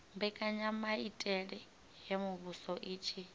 mbekanyamaitele ya muvhuso i tshi